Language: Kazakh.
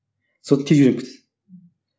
соны тез үйреніп кетеді